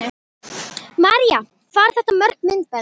María: Hvað eru þetta mörg myndbönd?